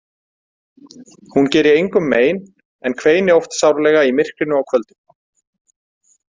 Hún geri engum mein en kveini oft sárlega í myrkrinu á kvöldin.